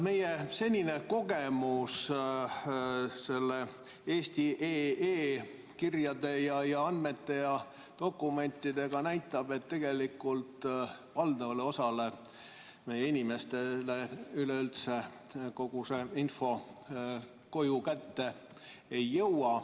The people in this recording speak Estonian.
Meie senine kogemus selle eesti.ee kirjade ja andmete ja dokumentidega näitab, et tegelikult valdavale osale meie inimestele üleüldse kogu see info koju kätte ei jõua.